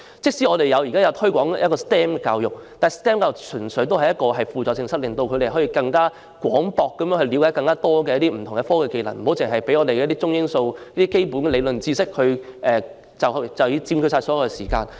即使我們現時推廣 STEM 教育，但 STEM 教育純屬輔助性質，令學生更廣泛了解不同的科技及技能，不容許中英數等基本理論知識佔據所有上課時間。